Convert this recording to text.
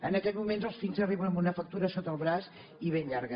en aquests moments els fills arriben amb una factura sota el braç i ben llarga